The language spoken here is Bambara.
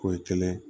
Ko ye kelen ye